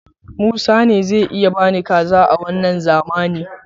Musa ne zai iya bani sadakar kaza a wanna zamanin.